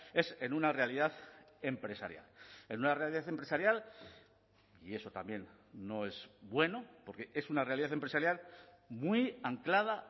es en una realidad empresarial en una realidad empresarial y eso también no es bueno porque es una realidad empresarial muy anclada